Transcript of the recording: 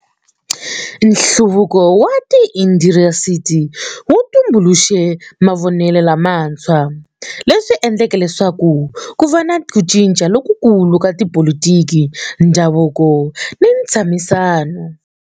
Nhluvuko wa tiindasitiri wu tumbuluxe mavonelo lamantshwa, leswi endleke leswaku ku va ni ku cinca lokukulu ka tipolitiki, ndhavuko ni ntshamisano.